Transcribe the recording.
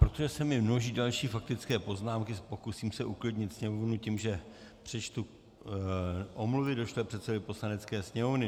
Protože se mi množí další faktické poznámky, pokusím se uklidnit sněmovnu tím, že přečtu omluvy došlé předsedovi Poslanecké sněmovny.